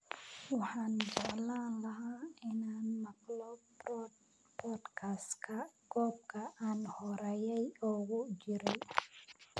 Waxaan jeclaan lahaa inaan maqlo podcast-ka goob aan horay ugu jiray